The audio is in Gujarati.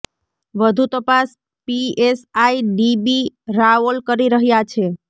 વધુ તપાસ પીએસઆઈ ડી બી રાઓલ કરી રહ્યા છે